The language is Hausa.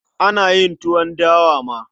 Ana yin tuwon dawa ma.